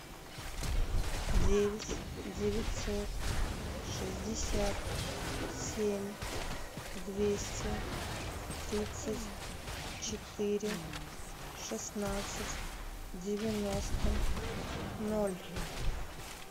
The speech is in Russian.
девять девятьсот шестьдесят семь двести тридцать четыре шестнадцать девяносто ноль